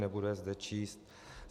Nebudu je zde číst.